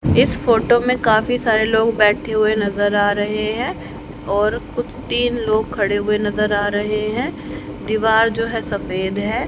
इस फोटो में काफी सारे लोग बैठे हुए नजर आ रहे हैं और कुत तीन लोग खड़े हुए नजर आ रहे हैं दीवार जो है सफेद है।